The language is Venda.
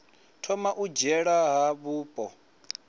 thoma u dzhiela nha vhupo